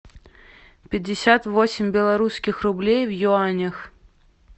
пятьдесят восемь белорусских рублей в юанях